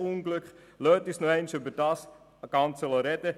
Lassen Sie uns nochmals über das Ganze sprechen;